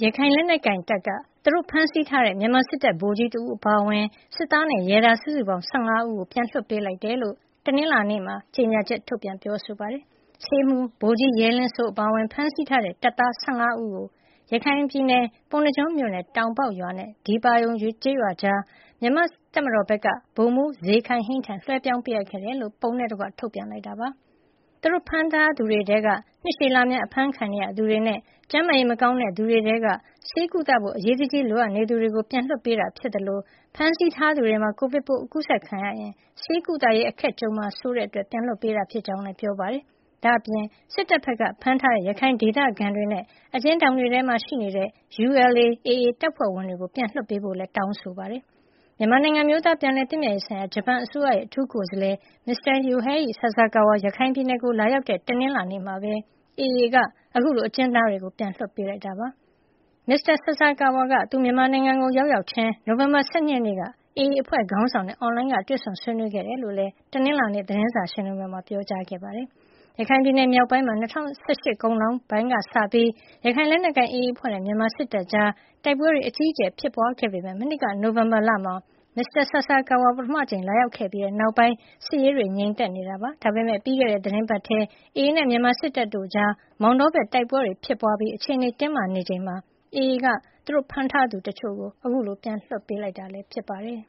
ရခိုင်လက်နက်ကိုင်တပ်က သူတို့ဖမ်းဆီးထားတဲ့ မြန်မာစစ်တပ် ဗိုလ်ကြီးတဦး အပါအဝင် စစ်သားနဲ့ ရဲသား စုစုပေါင်း ၁၅ ဦးကို ပြန်လွှတ်ပေးလိုက်တယ်လို့ တနင်္လာနေ့မှာ ကြေညာချက် ထုတ်ပြန်ပြောဆိုလိုက်ပါတယ်။ ဆေးမှူး ဗိုလ်ကြီး ရဲလင်းစိုး အပါအဝင် ဖမ်းဆီးထားတဲ့ တပ်သား ၁၅ ဦးကို ရခိုင်ပြည်နယ် ပုဏ္ဏားကျွန်းမြို့နယ် တောင်ပေါက်ရွာနဲ့ ဒီပါရုံကျေးရွာကြားမှာမြန်မာ့တပ်မတော်ဖက်က ဗိုလ်မှူး ဇေခိုင်ဟိန်း ထံ လွှဲပြောင်းပေးအပ်ခဲ့ကြောင်း ပုံနဲ့တကွ ထုတ်ပြန်လိုက်တာပါ။ သူတို့ဖမ်းထားသူတွေထဲက နှစ်ရှည်လများ အဖမ်းခံနေရသူတွေနဲ့ ကျန်းမာရေး မကောင်းတဲ့သူတွေ ထဲက ဆေးကုသဖို့ အရေးတကြီး လိုအပ်နေသူတွေကို ပြန်လွှတ်ပေးတာဖြစ်သလို ဖမ်းဆီးထားသူတွေမှာ Covid ကူးစက်ခံရရင် ဆေးကုသရေး အခက်ကြုံမှာ စိုးတာကြောင့် အခုလို ပြန်လွှတ်ပေးတာ ဖြစ်ကြောင်းလည်း ပြောပါတယ်။ ဒါ့အပြင် စစ်တပ်ဘက်က ဖမ်းဆီးထားတဲ့ ရခိုင်ဒေသခံတွေနဲ့ အကျဉ်းထောင်တွေထဲမှာ ရှိနေတဲ့ ULA/ AA တပ်ဖွဲ့ဝင်တွေ ကို ပြန်လွှတ်ပေးဖို့လည်း တောင်းဆိုလိုက်ပါတယ်။ မြန်မာနိုင်ငံ အမျိုးသားပြန်လည်သင့်မြတ်ရေးဆိုင်ရာ ဂျပန်အစိုးရရဲ့အထူးကိုယ်စားလှယ် Mr. Yohei Sasakawa ရခိုင်ပြည်နယ်ကို လာရောက်တဲ့ တနင်္လာနေ့မှာပဲ AA က အခုလို အကျဉ်းသားတွေ ပြန်လွှတ်ပေးလိုက်တာ ဖြစ်ပါတယ်။ မစ္စတာ Sasakawa က သူမြန်မာနိုင်ငံကို ရောက်ရောက်ချင်း နိုဝင်ဘာ ၁၂ ရက်နေ့က AA အဖွဲ့ခေါင်းဆောင်တွေနဲ့ အွန်လိုင်းကနေ တွေ့ဆုံဆွေးနွေးခဲ့တယ်လို့လည်း တနင်္လာနေ့ သတင်းစာရှင်းလင်းပွဲမှာ ပြောကြားခဲ့ပါတယ်။ ရခိုင်ပြည်နယ်မြောက်ပိုင်းမှာ ၂၀၁၈ အကုန်ပိုင်းလောက်ကစပြီး ရခိုင်လက်နက်ကိုင် AA အဖွဲ့နဲ့ မြန်မာစစ်တပ်ကြား တိုက်ပွဲတွေ အကြီးအကျယ် ဖြစ်ပွါးခဲ့ပေမယ့် မနှစ်က နိုဝင်ဘာလမှာ မစ္စတာ Sasakawa ပထမအကြိမ် လာရောက်ခဲ့ပြီးနောက်ပိုင်း စစ်ရေးတွေ ငြိမ်သက်နေတာပါ။ ဒါပေမယ့် ပြီးခဲ့တဲ့ သီတင်းပတ်ထဲမှာပဲ AA နဲ့ မြန်မာစစ်တပ်တို့ကြား မောင်တောဘက်မှာ တိုက်ပွဲတွေ ဖြစ်ပွါးပြီး အခြေနေတွေ တင်းမာနေချိန်မှာ AA က သူတို့ဖမ်းထားသူတချို့ ကို အခုလို ပြန်လွှတ်ပေးလိုက်တာလည်း ဖြစ်ပါတယ်